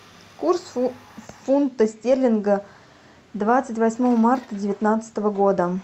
курс фунта стерлинга двадцать восьмого марта девятнадцатого года